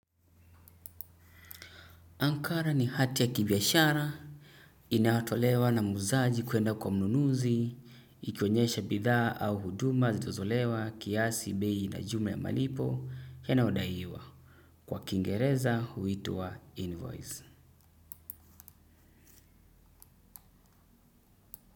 Ankara ni hati ya kibiashara, inayotolewa na muuzaji kuenda kwa mnunuzi, ikionyesha bidhaa au huduma zitozolewa kiasi beii na jume ya malipo, yanyodaiwa. Kwa kingereza, huitwa invoice.